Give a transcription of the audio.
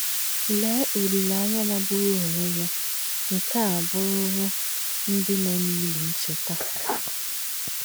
Leé ọlíléányà màgbūrù ònwé yà nke à búrùrū ‘ndí nọ̀ n’ílī nchētà’!